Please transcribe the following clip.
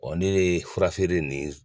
ne de ye furafeere nin